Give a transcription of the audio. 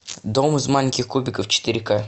дом из маленьких кубиков четыре к